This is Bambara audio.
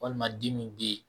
Walima